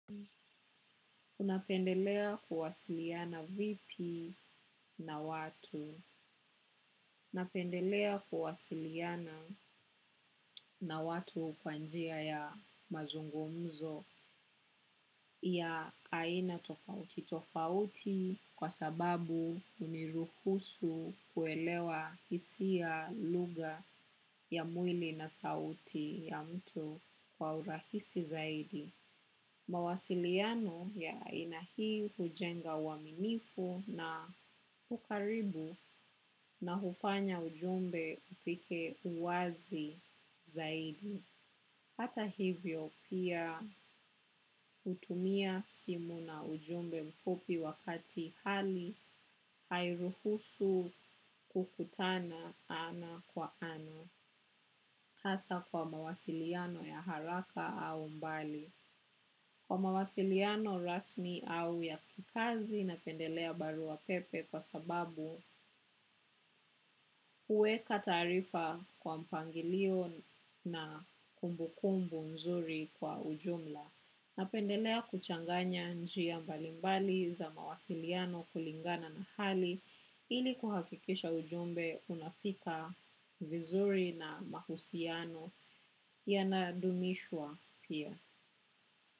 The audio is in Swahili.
Unapendelea kuwasiliana vipi na watu. Napendelea kuwasiliana na watu kwa njia ya mazungumzo ya aina tofauti. Tofauti kwa sababu huniruhusu kuelewa hisia lugha ya mwili na sauti ya mtu kwa urahisi zaidi. Mawasiliano ya aina hii hujenga uaminifu na hukaribu na hufanya ujumbe upite uwazi zaidi. Hata hivyo pia hutumia simu na ujumbe mfupi wakati hali hairuhusu kukutana ana kwa ana. Hasaa kwa mawasiliano ya haraka au mbali. Kwa mawasiliano rasmi au ya kikazi napendelea barua pepe kwa sababu huweka taarifa kwa mpangilio na kumbu kumbu nzuri kwa ujumla. Napendelea kuchanganya njia mbalimbali za mawasiliano kulingana na hali ili kuhakikisha ujumbe unafika vizuri na mahusiano yanadumishwa pia.